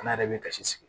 Ala yɛrɛ bɛ kasi sigi